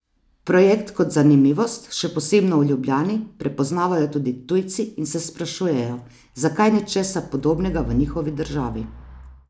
Projekt kot zanimivost, še posebno v Ljubljani, prepoznavajo tudi tujci in se sprašujejo, zakaj ni česa podobnega v njihovi državi.